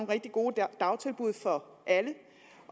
rigtig gode dagtilbud for alle